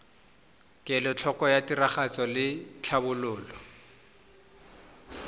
kelotlhoko ya tiragatso le tlhatlhobo